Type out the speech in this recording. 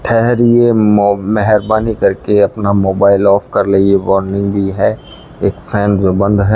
ठहरिए मो मेहरबानी करके अपना मोबाइल ऑफ कर लें ये वार्निंग भी है एक फैन जो बंद है।